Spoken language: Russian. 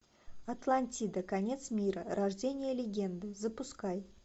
атлантида конец мира рождение легенды запускай